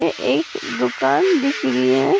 एक दुकान दिख रही है ।